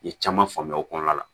N ye caman faamuya o kɔnɔna la